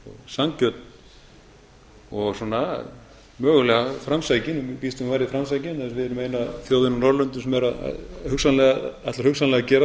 sanngjörn og mögulega framsækin ég býst við að hún verði framsækin vegna þess að við erum eina þjóðin á norðurlöndum